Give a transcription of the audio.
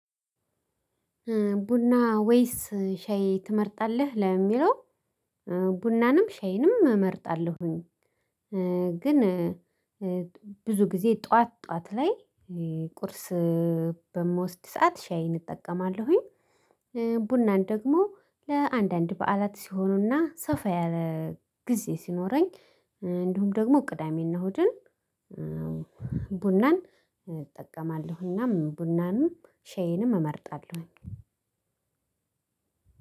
ቡና ወይስ ሻይ ትመርጣለህ ለሚለው? ቡናንም ሻይንም እመርጣለሁኝ። ግን ብዙ ጊዜ ጠዋት ጠዋት ላይ ቁርስ በምወስድ ሰዓት ሻይን እጠቀማለሁኝ። ቡናን ደግሞ ለአንዳንድ በዓላት ሲሆኑና ሰፋ ያለ ግዜ ሲኖረኝ እንዲሁም ደግሞ ቅዳሜና እሁድን እሁድን ቡናን እጠቀማለሁና ቡናንም ሻይንም እመርጣለሁኝ።